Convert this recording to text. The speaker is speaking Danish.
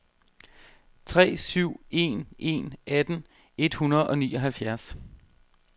tre syv en en atten et hundrede og nioghalvfjerds